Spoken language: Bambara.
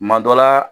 Kuma dɔ la